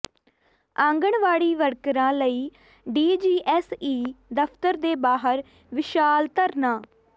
ਆਂਗਣਵਾੜੀ ਵਰਕਰਾਂ ਵੱਲੋਂ ਡੀਜੀਐਸਈ ਦਫ਼ਤਰ ਦੇ ਬਾਹਰ ਵਿਸ਼ਾਲ ਧਰਨਾ